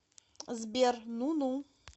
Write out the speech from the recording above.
сбер ну ну